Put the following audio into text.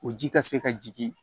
O ji ka se ka jigin